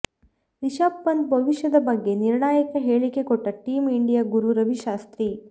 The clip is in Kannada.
ರಿಷಬ್ ಪಂತ್ ಭವಿಷ್ಯದ ಬಗ್ಗೆ ನಿರ್ಣಾಯಕ ಹೇಳಿಕೆ ಕೊಟ್ಟ ಟೀಮ್ ಇಂಡಿಯಾ ಗುರು ರವಿ ಶಾಸ್ತ್ರಿ